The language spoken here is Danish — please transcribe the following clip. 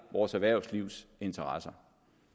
vores erhvervslivs interesser